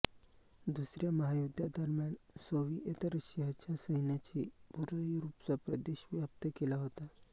दुसऱ्या महायुद्धादरम्यान सोव्हिएत रशियाच्या सैन्याने पूर्व युरोपचा प्रदेश व्याप्त केला होता